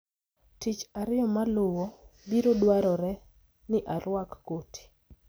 Tich Ariyo maluwo, biro dwarore ni arwak koti